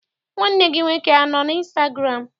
Nwanne gị nwoke anọ n' ịnstagụramụ?